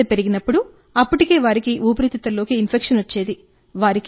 తీవ్రత పెరిగినప్పుడు అప్పటికే వారి ఊపిరితిత్తులలోకి ఇన్ఫెక్షన్ వచ్చేది